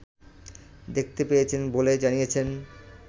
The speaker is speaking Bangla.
দেখতে পেয়েছেন বলে জানিয়েছেন